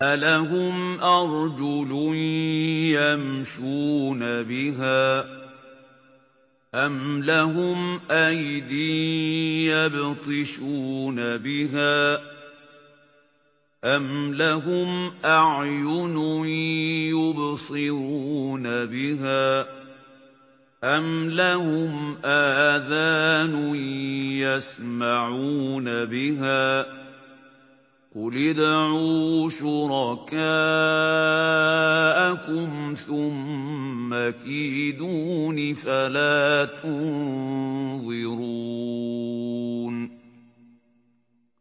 أَلَهُمْ أَرْجُلٌ يَمْشُونَ بِهَا ۖ أَمْ لَهُمْ أَيْدٍ يَبْطِشُونَ بِهَا ۖ أَمْ لَهُمْ أَعْيُنٌ يُبْصِرُونَ بِهَا ۖ أَمْ لَهُمْ آذَانٌ يَسْمَعُونَ بِهَا ۗ قُلِ ادْعُوا شُرَكَاءَكُمْ ثُمَّ كِيدُونِ فَلَا تُنظِرُونِ